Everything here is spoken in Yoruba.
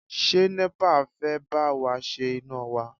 Ṣé NEPA fẹ́ bá wa ṣe iná wa?